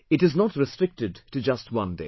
It is not restricted to just one day